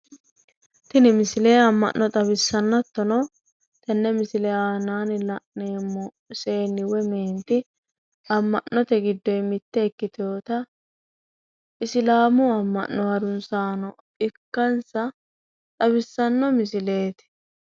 Tini misile amma'no xawissanno hattono tenne misile aanaanni la'neemmo seenni woyi meenti ama'note giddoyi mitte ikkitewoota islaamu ama'no harunsaano ikkansa xawissanno misileeti.